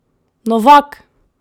Novak!